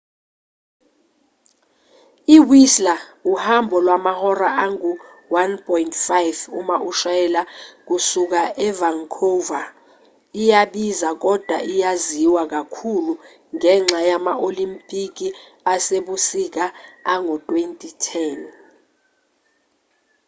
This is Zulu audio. iwhistler uhambo lwamahora angu-1.5 uma ushayela kusuka evancouver iyabiza kodwa iyaziwa kakhulu ngenxa yama-olimpiki asebusika ango-2010